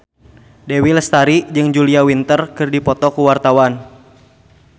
Dewi Lestari jeung Julia Winter keur dipoto ku wartawan